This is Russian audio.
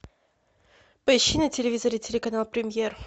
поищи на телевизоре телеканал премьер